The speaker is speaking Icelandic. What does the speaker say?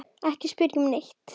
Ekki spyrja um neitt.